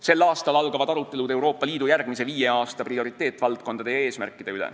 Sel aastal algavad arutelud Euroopa Liidu järgmise viie aasta prioriteetvaldkondade ja eesmärkide üle.